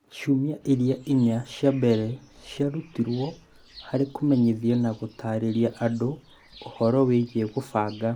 Ciumia iria inya cia mbere ciarutirũo harĩ kũmenyithia na gũtarĩria andũ ũhoro wĩgiĩ kũbanga